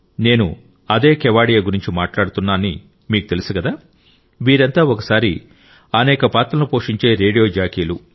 నేను అదే కెవాడియా గురించి మాట్లాడుతున్నా అని మీకు తెలుసు కదా వీరంతా ఒకేసారి అనేక పాత్రలను పోషించే రేడియో జాకీలు